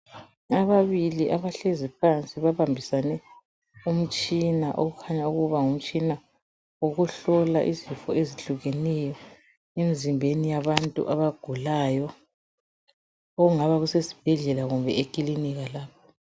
Ababili abahlezi phansi babambisane umtshina ofuna ukuba ngumtshina wokuhlola izifo ezitshiyeneyo emzimbeni yabantu abagulayo okungaba kusesibhedlela kumbe ekilinika.